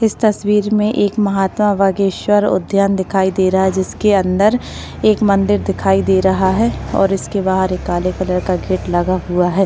इस तस्वीर में एक महात्मा बागेश्वर उद्यान दिखाई दे रहा है जिसके अंदर एक मंदिर दिखाई दे रहा है और इसके बाहर एक काले कलर का गेट लगा हुआ है।